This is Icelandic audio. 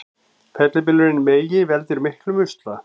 Fellibylurinn Megi veldur miklum usla